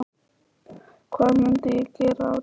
Hvað myndi ég gera á daginn?